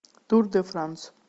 тур де франс